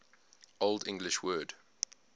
old english word